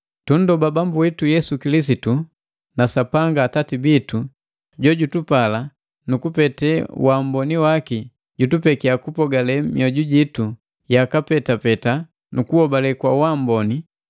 Tunndoba Bambu witu Yesu Kilisitu na Sapanga Atati bitu jojutupaala na kupete wa amboni waki jutupeki kupogale mioju jitu yaka petapeta nu kuhobale kwa amboni,